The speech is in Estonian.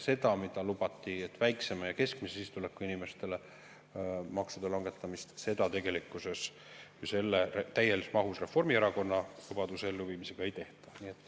Seda, mida lubati – väiksema ja keskmise sissetulekuga inimestele maksude langetamist –, tegelikkuses täies mahus Reformierakonna lubaduse elluviimisega ei tehta.